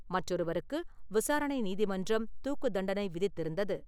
மற்றொருவருக்கு விசாரணை நீதிமன்றம் தூக்குத் தண்டனை விதித்திருந்தது.